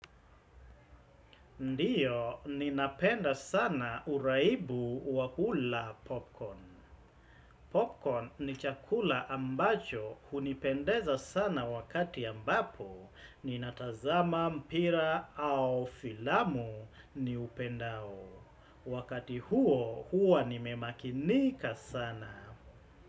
Ndiyo, ninapenda sana uraibu wa kula popcorn. Popcorn ni chakula ambacho hunipendeza sana wakati ambapo, ninatazama mpira au filamu ni upendao. Wakati huo, huwa nimemakinika sana.